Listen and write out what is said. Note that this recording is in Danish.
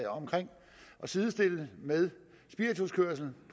sidestille det med spirituskørsel og